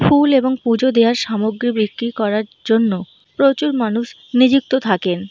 ফুল এবং পুজো দেওয়ার সামগ্রী বিক্রি করার জন্য প্রচুর মানুষ নিযুক্ত থাকেন।